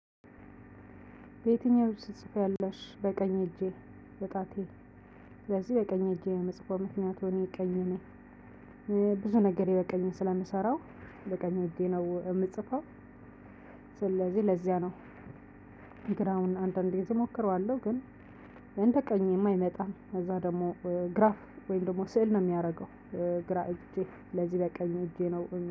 በየትኛው እጅሽ ትጽፊያለሽ? በቀኝ እጄ በጣቴ። ስለዚህ በቀኝ እጄ ነው መጽፈው ምክንያቱም እኔ ቀኝ ነኝ። ብዙ ነገር በቀኝ ስለምሰራ በቀኝ እጄ ነው የምጽፈው። ስለዚህ ለዚያ ነው። ግራውን አንዳንዴ እሞክረዋለሁ ግን እንደ ቀኝ የማይመጣም ከዛ ደግሞ ግራፍ ወይም ደግሞ ስዕል ነው የሚያደርገው። ግራ እጄ ስለዚህ በቀኝ እጄ ነው